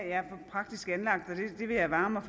er for praktisk anlagt det vil jeg vare mig